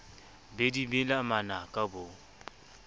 be di mela manaka bo